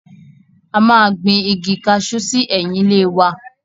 A máa gbin Igi kajú sí ẹ̀yìn ilé wa.